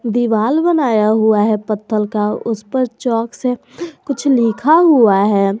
दीवाल बनाया हुआ है पत्थल का उस पर चॉक से कुछ लिखा हुआ है।